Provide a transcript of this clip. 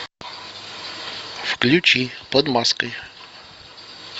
включи под маской